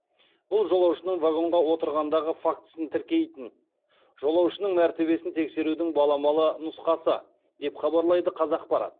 бұл жолаушының вагонға отырғандығы фактісін тіркейтін жолаушының мәртебесін тексерудің баламалы нұсқасы деп хабарлайды қазақпарат